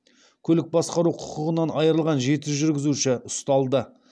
көлік басқару құқығынан айырылған жеті жүргізуші ұсталды